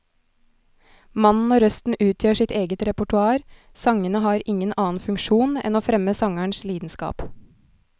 Mannen og røsten utgjør sitt eget repertoar, sangene har ingen annen funksjon enn å fremme sangerens lidenskap.